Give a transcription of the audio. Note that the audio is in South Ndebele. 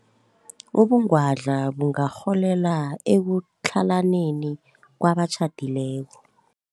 Ubungwadla bungarholela ekutlhalaneni kwabatjhadileko.